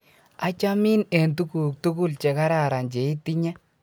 achamin eng' tuguk tugul che kararan cheitinye